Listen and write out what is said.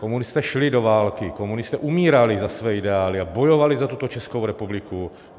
Komunisté šli do války, komunisté umírali za své ideály a bojovali za tuto Českou republiku.